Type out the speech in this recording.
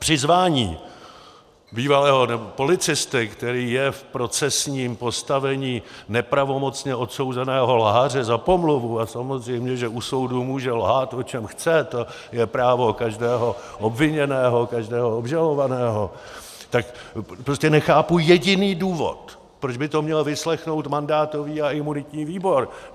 Přizvání bývalého policisty, který je v procesním postavení nepravomocně odsouzeného lháře za pomluvu - a samozřejmě, že u soudu může lhát, o čem chce, to je právo každého obviněného, každého obžalovaného - tak prostě nechápu jediný důvod, proč by to měl vyslechnout mandátový a imunitní výbor.